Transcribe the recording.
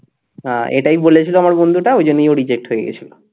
এটাই বলেছিল আমার বন্ধুটা ওই জন্যই ও reject হয়ে গেছিল